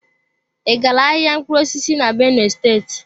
I gala ahịa mkpụrụ osisi na benue state?